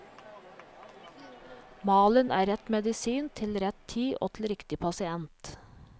Malen er rett medisin til rett tid og til riktig pasient.